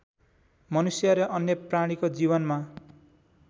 मनुष्य र अन्य प्राणीको जीवनमा